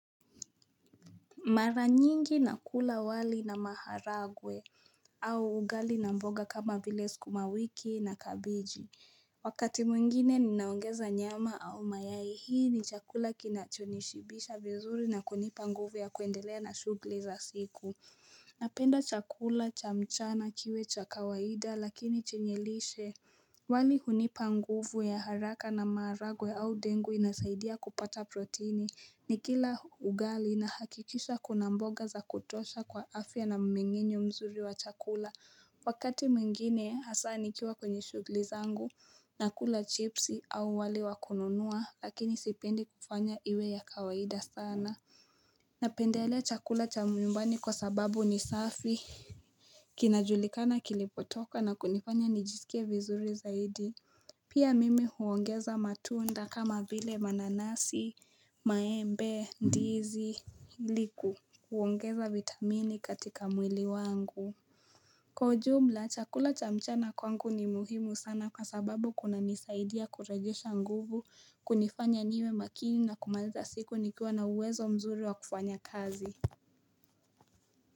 Mara nyingi na kula wali na maharagwe au ugali na mboga kama vile skumawiki na kabeji. Wakati mwingine ni naongeza nyama au mayai hii ni chakula kinachonishibisha vizuri na kunipa nguvu ya kuendelea na shugli za siku. Napenda chakula cha mchana kiwe cha kawaida lakini chenyelishe. Wali hunipa nguvu ya haraka na maharagwe au dengu inasaidia kupata protini ni kila ugali na hakikisha kuna mboga za kutosha kwa afya na mmengenyo mzuri wa chakula Wakati mwingine hasa nikiwa kwenye shugliza angu na kula chipsi au wali wakununua lakini sipendi kufanya iwe ya kawaida sana Napendelea chakula cha myumbani kwa sababu ni safi Kinajulikana kilipotoka na kunifanya nijisikie vizuri zaidi Pia mimi huongeza matunda kama vile mananasi, maembe, ndizi, iliku, kuongeza vitamini katika mwili wangu. Kwa ujumla, chakula chamchana kwangu ni muhimu sana kwa sababu kuna nisaidia kurejesha nguvu kunifanya niwe makini na kumaliza siku nikiwa na uwezo mzuri wa kufanya kazi.